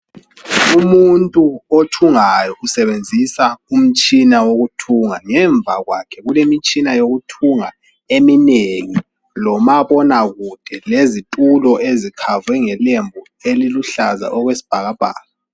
Umuntu othungayo usebenzisa umtshina wokuthunga. Ngemva kwakhe kulemitshina yokuthunga eminengi lomabonakude lezitulo ezikhavwe ngelembu eliluhlaza okwesbhakabhaka.